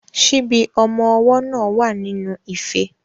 Ṣíbí ọmọ ọwọ́ náà wà nínú ife.